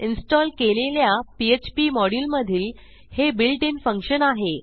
install केलेल्या PHP module मधील हे built इन फंक्शन आहे